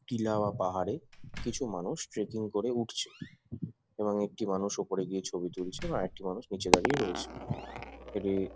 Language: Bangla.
টিলা বা পাহাড়ে কিছু মানুষ ট্রেকিং করে উঠছে | এবং একটি মানুষ ওপরে গিয়ে ছবি তুলছে আরেকটি মানুষ নীচে দাঁড়িয়ে রয়েছে এদের ।